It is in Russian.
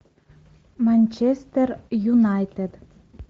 манчестер юнайтед